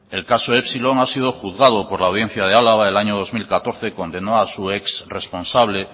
el caso epsilon ha sido juzgado por la audiencia de álava y en el año dos mil catorce condenó a su ex responsable